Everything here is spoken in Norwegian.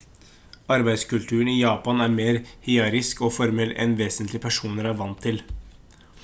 arbeidskulturen i japan er mer hierarkisk og formell enn vestlige personer er vant til